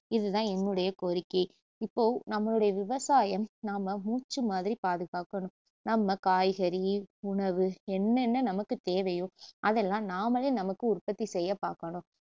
இதுதான் என்னுடைய கோரிக்கை இப்போ நம்மளுடைய விவசாயம் நாம மூச்சு மாதிரி பாதுகாக்கணும் நம்ம காய்கறி, உணவு என்னென்ன நமக்கு தேவையோ அதெல்லாம் நாமளே நமக்கு உற்பத்திசெய்ய பாக்கணும்